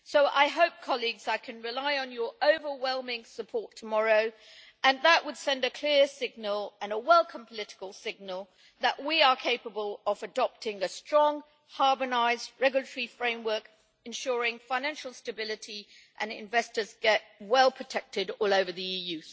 I hope, colleagues, I can rely on your overwhelming support tomorrow and that would send a clear signal and a welcome political signal that we are capable of adopting a strong, harmonised, regulatory framework ensuring financial stability and that investors get well protected all over the EU.